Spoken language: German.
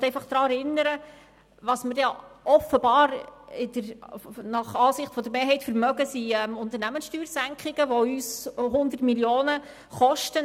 Ich möchte einfach daran erinnern, was wir uns nach Ansicht der Mehrheit offenbar die Unternehmenssteuersenkung leisten können, die uns 100 Mio. Franken kostet.